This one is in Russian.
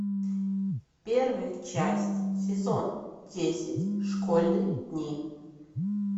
первая часть сезон десять школьные дни